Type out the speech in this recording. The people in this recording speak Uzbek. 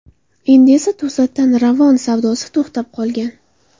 Endi esa to‘satdan Ravon savdosi to‘xtab qolgan.